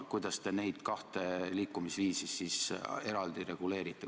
Kuidas te neid kahte liikumisviisi siis eraldi reguleerite?